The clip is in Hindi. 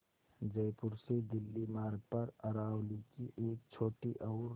जयपुर से दिल्ली मार्ग पर अरावली की एक छोटी और